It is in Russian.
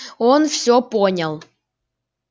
он все понял